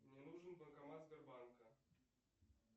мне нужен банкомат сбербанка